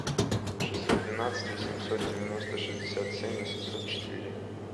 шестьсот двенадцать восемьсот девяносто шестьдесят семь восемьсот четыре